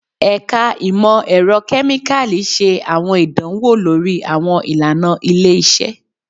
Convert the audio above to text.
Ẹka Imọ-ẹrọ Kemikali ṣe awọn idanwo lori awọn ilana ile-iṣẹ